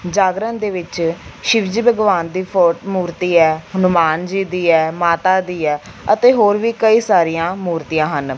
ਜਾਗਰਣ ਦੇ ਵਿੱਚ ਸ਼ਿਵ ਜੀ ਭਗਵਾਨ ਦੀ ਫੋਟ ਮੂਰਤੀ ਐ ਹਨੁਮਾਨ ਜੀ ਦੀ ਐ ਮਾਤਾ ਦੀ ਐ ਅਤੇ ਹੋਰ ਵੀ ਕਈ ਸਾਰੀਆਂ ਮੂਰਤੀਆਂ ਹਨ।